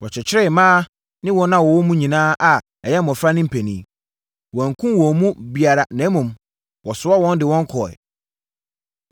Wɔkyekyeree mmaa ne wɔn a wɔwɔ mu nyinaa a ɛyɛ mmɔfra ne mpanin. Wɔankum wɔn mu biara, na mmom, wɔsoaa wɔn de wɔn kɔeɛ.